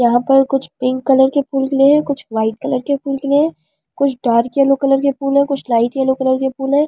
यहां पर कुछ पिंक कलर के फूल खिले है कुछ ब्‍हाईट कलर के फूल खिले है कुछ डार्क एलो कलर के फूल है कुछ लाइट एलो कलर के फूल है।